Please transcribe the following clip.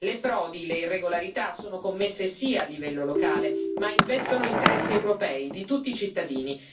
Le frodi e le irregolarità sono commesse sì a livello locale, ma investono interessi europei di tutti i cittadini.